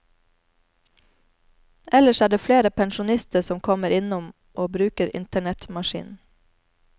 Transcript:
Ellers er det flere pensjonister som kommer innom og bruker internettmaskinen.